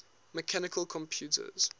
mechanical computers